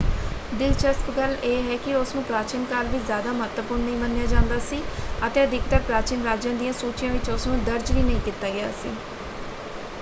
ਦਿਲਚਸਪ ਗੱਲ ਇਹ ਹੈ ਕਿ ਉਸਨੂੰ ਪ੍ਰਾਚੀਨ ਕਾਲ ਵਿੱਚ ਜਿਆਦਾ ਮਹੱਤਵਪੂਰਨ ਨਹੀਂ ਮੰਨਿਆ ਜਾਂਦਾ ਸੀ ਅਤੇ ਅਧਿਕਤਰ ਪ੍ਰਾਚੀਨ ਰਾਜਿਆਂ ਦੀਆਂ ਸੂਚੀਆਂ ਵਿੱਚ ਉਸਨੂੰ ਦਰਜ ਵੀ ਨਹੀਂ ਕੀਤਾ ਗਿਆ ਸੀ।